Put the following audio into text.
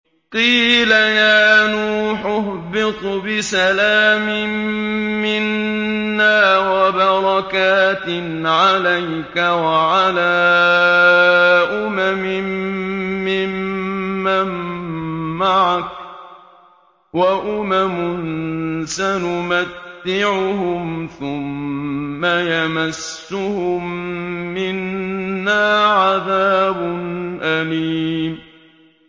قِيلَ يَا نُوحُ اهْبِطْ بِسَلَامٍ مِّنَّا وَبَرَكَاتٍ عَلَيْكَ وَعَلَىٰ أُمَمٍ مِّمَّن مَّعَكَ ۚ وَأُمَمٌ سَنُمَتِّعُهُمْ ثُمَّ يَمَسُّهُم مِّنَّا عَذَابٌ أَلِيمٌ